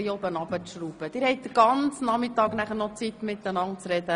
Sie haben noch den ganzen Nachmittag Zeit, um sich zu unterhalten.